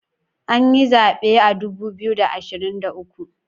An yi zaben a dubu biyu da ashirin da uku